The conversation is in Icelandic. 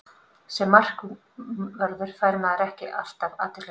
Sem markvörður fær maður ekki alltaf athyglina.